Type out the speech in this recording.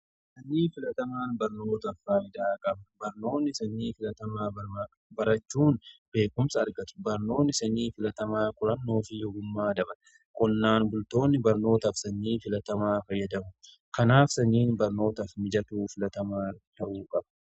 Sanyii filatamaan barnootaaf faayidaa qaba. Barnoonni sanyii filatamaa barachuun beekumsa argatu. Barnoonni sanyii filatamaa qorannoo fi ogummaa dabare qonnaan bultoonni barnootaaf sanyii filatamaa fayyadamu. Kanaaf sanyiin barnootaaf mijatuu filatamaa ta'uu qaba.